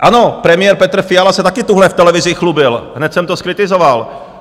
Ano, premiér Petr Fiala se taky tuhle v televizi chlubil, hned jsem to zkritizoval.